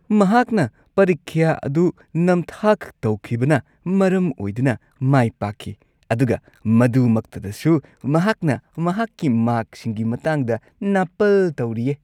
ꯃꯍꯥꯛꯅ ꯄꯔꯤꯈ꯭ꯌꯥ ꯑꯗꯨ ꯅꯝꯊꯥꯛ ꯇꯧꯈꯤꯕꯅ ꯃꯔꯝ ꯑꯣꯏꯗꯨꯅ ꯃꯥꯏ ꯄꯥꯛꯈꯤ ꯑꯗꯨꯒ ꯃꯗꯨꯃꯛꯇꯗꯁꯨ ꯃꯍꯥꯛꯅ ꯃꯍꯥꯛꯀꯤ ꯃꯥꯔꯛꯁꯤꯡꯒꯤ ꯃꯇꯥꯡꯗ ꯅꯥꯄꯜ ꯇꯧꯔꯤꯌꯦ꯫